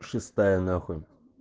шестая нахуй